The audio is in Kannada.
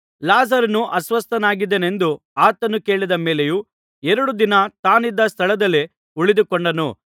ಲಾಜರನು ಅಸ್ವಸ್ಥನಾಗಿದ್ದಾನೆಂದು ಆತನು ಕೇಳಿದ ಮೇಲೆಯೂ ಎರಡು ದಿನ ತಾನಿದ್ದ ಸ್ಥಳದಲ್ಲೇ ಉಳಿದುಕೊಂಡನು